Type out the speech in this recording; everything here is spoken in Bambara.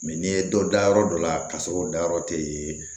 n'i ye dɔ da yɔrɔ dɔ la k'a sɔrɔ o dayɔrɔ te yen